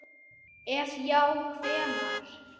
ef já hvenær??